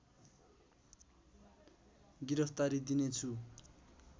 गिरफ्तारी दिने छु